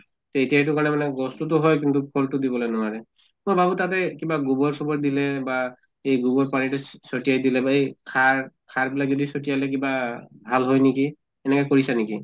তʼ এতিয়া এইটো কাৰণে মানে গছটো তো হয় কিন্তু ফল টো দিবলৈ নোৱাৰে। মই ভাবো তাতে কিবা গোবৰ চোবৰ দিলে বা এই গোবৰ পানীটো চ চিতয়াই দিলে বা এই সাৰ সাৰ বিলাক যদি চতিয়ালে কিবা ভাল হয় নেকি? এনেকা কৰিছা নেকি?